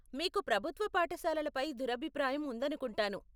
మీకు ప్రభుత్వ పాఠశాలల పై దురభిప్రాయం ఉందనుకుంటాను.